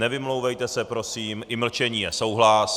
Nevymlouvejte se prosím, i mlčení je souhlas.